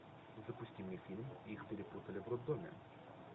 запусти мне фильм их перепутали в роддоме